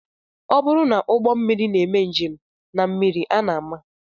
Ọ bụrụ na ụgbọmmiri na-eme njem na mmiri a na-ama